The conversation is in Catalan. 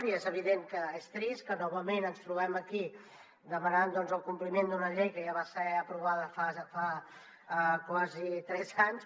i és evident que és trist que novament ens trobem aquí demanant el compliment d’una llei que ja va ser aprovada fa quasi tres anys